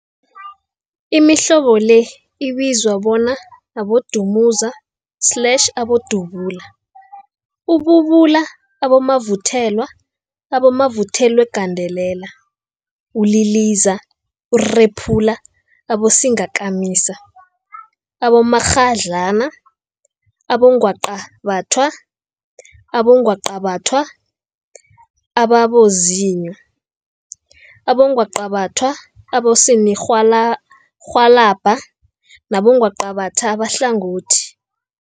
Imihlobo le ibizwa bona, abodumuza slash abodubula, ububula, abomavuthelwa, abomavuthelwagandelela, uliliza, urephula, abosingakamisa, abomakghadlana, abongwaqabathwa, abongwaqabathwa ababozinyo, abongwaqabathwa abosininirhwalabha nabongwaqabatha abahlangothi.